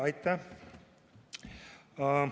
Aitäh!